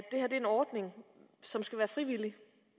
er en ordning som skal være frivillig